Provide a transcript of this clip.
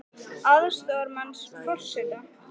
Hafstein, auk Herdísar Þorsteinsdóttur, aðstoðarmanns forseta.